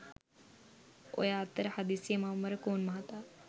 ඔය අතර හදිසියේම අමරකෝන් මහතා